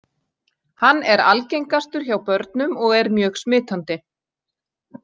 Hann er algengastur hjá börnum og er mjög smitandi.